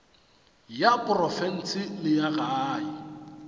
ya profense le ya gae